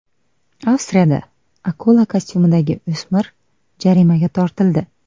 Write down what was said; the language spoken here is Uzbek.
Avstriyada akula kostyumidagi o‘smir jarimaga tortildi.